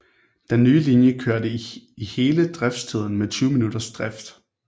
Den nye linje kørte i hele driftstiden med 20 minutters drift